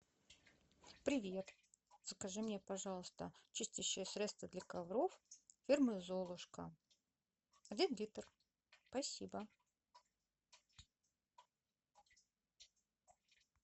привет закажи мне пожалуйста чистящее средство для ковров фирмы золушка один литр спасибо